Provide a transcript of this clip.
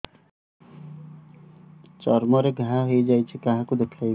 ଚର୍ମ ରେ ଘା ହୋଇଯାଇଛି କାହାକୁ ଦେଖେଇବି